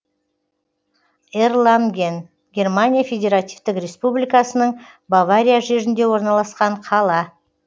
эрланген германия федеративтік республикасының бавария жерінде орналасқан қала